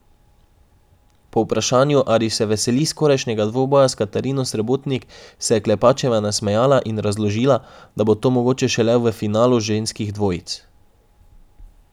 Po vprašanju ali se veseli skorajšnjega dvoboja s Katarino Srebotnik, se je Klepačeva nasmejala in razložila, da bo to mogoče šele v finalu ženskih dvojic.